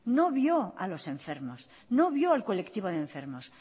no vio a los enfermos no vio al colectivo de enfermos